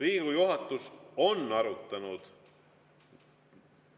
Riigikogu juhatus arutas